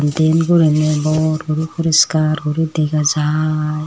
diyen guriney bor guri puriskar guri dega jaaai.